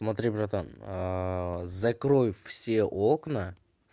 смотри братан закрой все окна